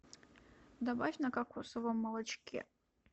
добавь на кокосовом молочке